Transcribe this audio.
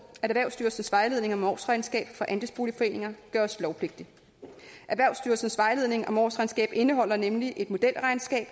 at erhvervsstyrelsens vejledning om årsregnskab for andelsboligforeninger gøres lovpligtig erhvervsstyrelsens vejledning om årsregnskab indeholder nemlig et modelregnskab